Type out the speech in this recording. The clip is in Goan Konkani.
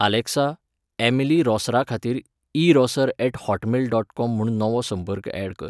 आलॅक्सा, ऍमिली रॉसराखातीर ईरॉसर ऍट हॉटमेल डॉट कॉम म्हूण नवो संपर्क ऍड कर